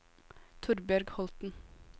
Torbjørg Holten